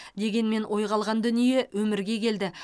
дегенмен ойға алған дүние өмірге келді